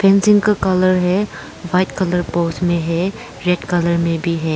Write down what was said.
Painting का colour है white colour pose में है रेड कलर में भी है।